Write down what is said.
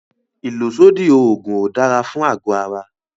ìlòsódì òògùn ò dára fún ago ara.